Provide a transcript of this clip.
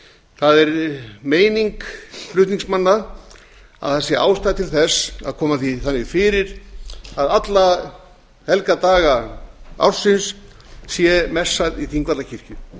það er meining flutningsmanna að það sé ástæða til þess að koma því þannig fyrir að alla helga daga ársins sé messað í þingvallakirkju